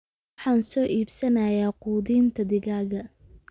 Waxaan soo iibsanayaa quudinta digaaga